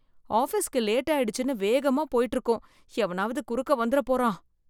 ஆபீஸ்க்கு லேட் ஆயிடுச்சுன்னு வேகமா போயிட்டு இருக்கோம் எவனாவது குறுக்க வந்துற போறான்.